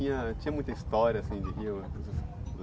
Tinha, tinha muita história, assim, de rio.